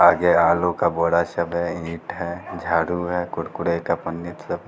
आगे आलू का बोरा सब है ईंट हैं झाड़ू है कूरकूरे का पन्नी सब --